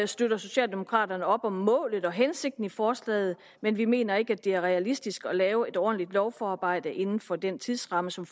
støtter socialdemokraterne op om målet og hensigten i forslaget men vi mener ikke at det er realistisk at lave et ordentligt lovforarbejde inden for den tidsramme som